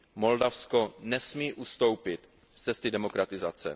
Moldavsko nesmí ustoupit z cesty demokratizace.